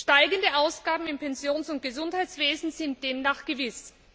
Steigende Ausgaben im Pensions und Gesundheitswesen sind demnach gewiss.